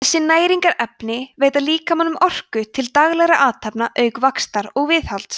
þessi næringarefni veita líkamanum orku til daglegra athafna auk vaxtar og viðhalds